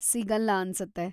ಸಿಗಲ್ಲ ಅನ್ಸತ್ತೆ.